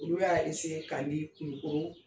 Olu y'a ka ni kulukoro